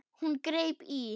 Hún greip í